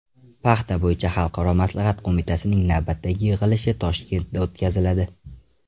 Paxta bo‘yicha xalqaro maslahat qo‘mitasining navbatdagi yig‘ilishi Toshkentda o‘tkaziladi.